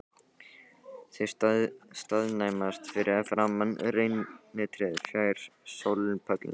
Þau staðnæmast fyrir framan reynitréð fjær sólpallinum.